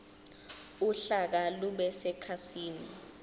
uhlaka lube sekhasini